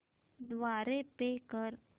द्वारे पे कर